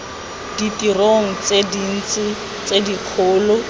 ditirong tse dintsi tse dikgolo